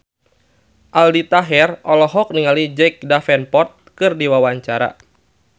Aldi Taher olohok ningali Jack Davenport keur diwawancara